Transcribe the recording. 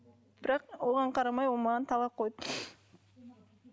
бірақ оған қарамай ол маған талақ қойды